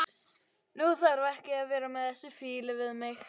Þú þarft ekki að vera með þessa fýlu við mig.